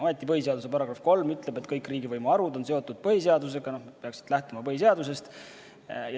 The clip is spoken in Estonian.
Ometi põhiseaduse § 3 ütleb, et kõik riigivõimu harud on seotud põhiseadusega ja peaksid lähtuma põhiseadusest.